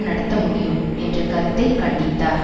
நடத்த முடியும் என்ற கருத்தை கண்டித்தார்